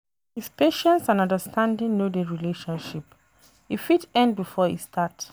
If patience and understanding no dey relationship, e fit end before e start